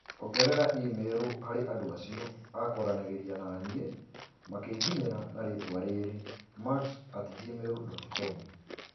Ongerera i-mīrū harī andū acio akwaranagīria naniī makīnginyīra na rītwa rīrī macs@gmail.com